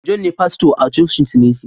John ne fasto a cocin su messi